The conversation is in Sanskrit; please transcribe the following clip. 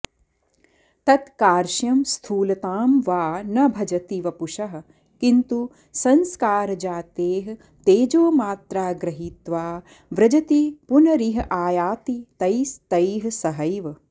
तत्कार्श्यं स्थूलतां वा न भजति वपुषः किंतु संस्कारजाते तेजोमात्रा गृहीत्वा व्रजति पुनरिहायाति तैस्तैः सहैव